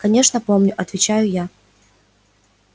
конечно помню отвечаю я